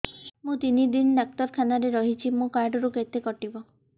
ମୁଁ ତିନି ଦିନ ଡାକ୍ତର ଖାନାରେ ରହିଛି ମୋର କାର୍ଡ ରୁ କେତେ କଟିବ